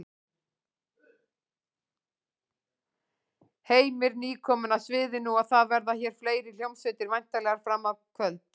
Heimir: Nýkomin af sviðinu og það verða hér fleiri hljómsveitir væntanlega fram á kvöld?